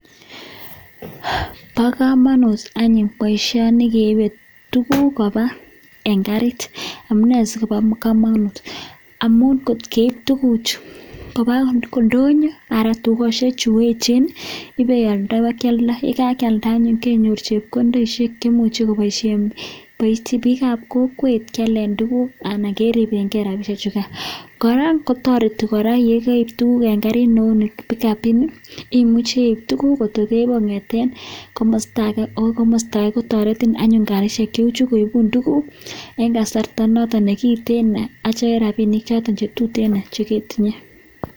paakamanut any poishonii keibee tuguk kebaisheen kariit ,amun ngotkeib tuguu chuu pakealdaii sikenyoor rapisheek ako koraaa inyoruu brPISHEEK CHECHANG INGIALDEE TUGUU CHUTOK